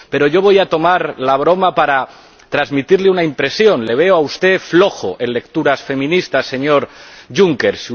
Pero yo voy a retomar la broma para transmitirle una impresión le veo a usted flojo en lecturas feministas, señor Juncker.